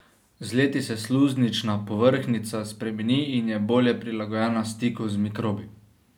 Z leti se sluznična povrhnjica spremeni in je bolje prilagojena stiku z mikrobi.